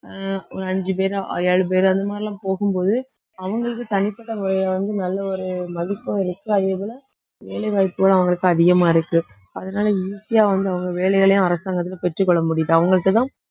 அஹ் ஒரு அஞ்சு பேர் ஏழு பேர் அந்த மாதிரி எல்லாம் போகும்போது அவங்களுக்கு தனிப்பட்ட முறையிலே வந்து, நல்ல ஒரு மதிப்பும் இருக்கு அதேபோல வேலை வாய்ப்புகளும் அவங்களுக்கு அதிகமா இருக்கு அதனால easy ஆ வந்து, அவங்க வேலைகளையும் அரசாங்கத்துக்கு பெற்றுக் கொள்ள முடியுது அவங்களுக்குதான்